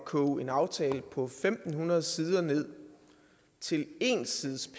koge en aftale på fem hundrede sider ned til en side